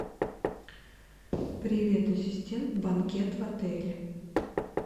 привет ассистент банкет в отеле